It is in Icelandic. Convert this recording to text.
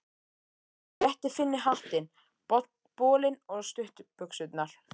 Hann rétti Finni hattinn, bolinn og stuttbuxurnar.